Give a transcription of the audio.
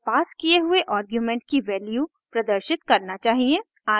यह पास किये हुए आर्गुमेंट की वैल्यू प्रदर्शित करना चाहिए